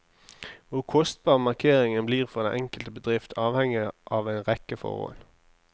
Hvor kostbar markeringen blir for den enkelte bedrift, avhenger av en rekke forhold.